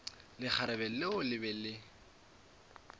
lekgarebe leo le be le